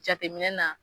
Jateminɛ na